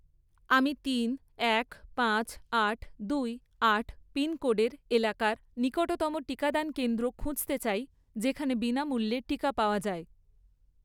আমি তিন, এক, পাঁচ, আট, দুই, আট পিনকোডের এলাকার নিকটতম টিকাদান কেন্দ্র খুঁজতে চাই যেখানে বিনামূল্যে টিকা পাওয়া যায়